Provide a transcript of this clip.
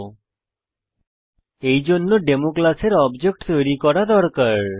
000928 000921 এইজন্য ডেমো ক্লাসের অবজেক্ট তৈরী করা দরকার